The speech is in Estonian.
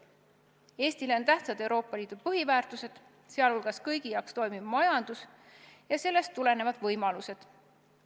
Eestile on tähtsad Euroopa Liidu põhiväärtused, sh kõigi jaoks toimiv majandus ja sellest tulenevad võimalused.